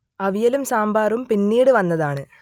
അവിയലും സാമ്പാറും പിന്നീട് വന്നതാണ്